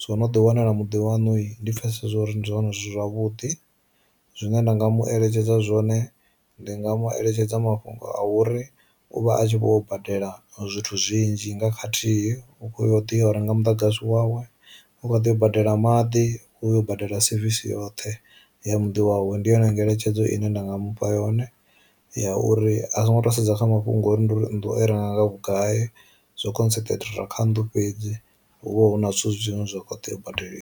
So no ḓi wana ḽimudi waṋu ndi pfesesa uri ndi zwino zwi thu zwavhuḓi. Zwine nda nga mu eletshedza zwone ndi nga mueletshedza mafhungo a uri u vha a tshi vho badela zwithu zwinzhi nga khathihi u kho tea uri nga muḓagasi wawe, u kho ḓo badela maḓi, u badela sevisi yoṱhe ya muḓi wawe. Ndi yone ngeletshedzo ine nda nga mufha yone ya uri a songo tou sedza kha mafhungo uri ndi uri ndi u i renga nga vhugai zwo concentrator kha nnḓu fhedzi hu vha hu na zwithu zwine zwa kho tea u badeli.